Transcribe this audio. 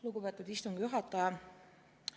Lugupeetud istungi juhataja!